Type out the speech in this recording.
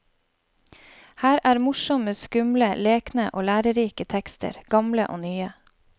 Her er morsomme, skumle, lekne og lærerike tekster, gamle og nye.